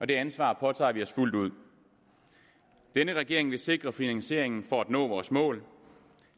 det ansvar påtager vi os fuldt ud denne regering vil sikre finansieringen for at nå vores mål